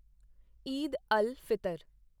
Eid al Fitr